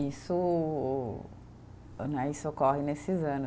Isso né, isso ocorre nesses anos.